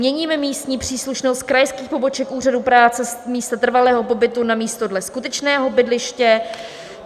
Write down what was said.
Měníme místní příslušnost krajských poboček úřadů práce z místa trvalého pobytu na místo dle skutečného bydliště.